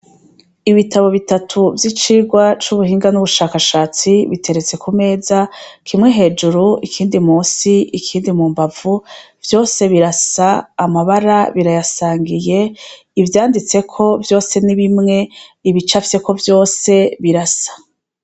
Ibitabo bitatu vy'icirwa c'ubuhinga n'ubushakashatsi biteretse ku meza kimwe hejuru ikindi musi ikindi mu mbavu vyose birasa amabara birayasangiye ivyanditseko vyose nibimwe ibica fyeko vyose birasa.